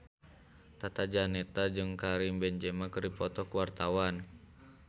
Tata Janeta jeung Karim Benzema keur dipoto ku wartawan